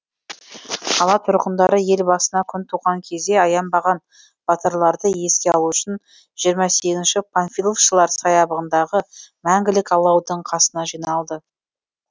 қала тұрғындары ел басына күн туған кезде аянбаған батырларды еске алу үшін жиырма сегізінші панфиловшылар саябағындағы мәңгілік алаудың қасына жиналды